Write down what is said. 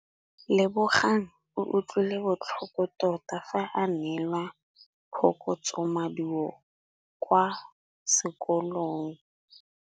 Lebogang o utlwile botlhoko tota fa a neelwa phokotsômaduô kwa sekolong.